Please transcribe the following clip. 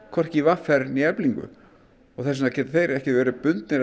hvorki í v r né Eflingu þess vegna geta þeir ekkert verið bundnir